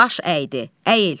Baş əydi, əyil.